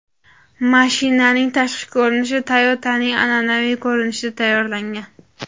Mashinaning tashqi ko‘rinishi Toyota’ning an’anaviy ko‘rinishida tayyorlangan.